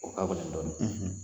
O k'a gɛlɛ dɔɔnin.